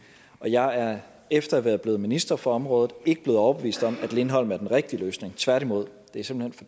og jeg er efter at være blevet minister for området ikke blevet overbevist om at lindholm er den rigtige løsning tværtimod det er simpelt